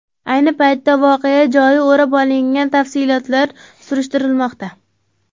Ayni paytda voqea joyi o‘rab olingan, tafsilotlar surishtirilmoqda.